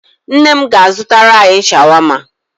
Nne m ga-azụtara anyị shawama.